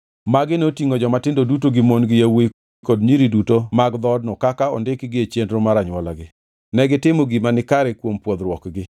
Magi notingʼo jomatindo duto gi mon gi yawuowi kod nyiri duto mag dhoodno kaka ondikgi e nonro mar anywolagi. Negitimo gima nikare kuom pwodhruokgi.